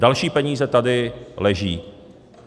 Další peníze tady leží.